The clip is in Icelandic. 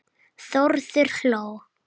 Þórður hló.